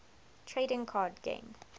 trading card game